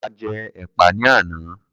A jẹ́ ẹ̀pà ní àná.